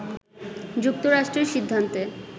“যুক্তরাষ্ট্রের সিদ্ধান্তে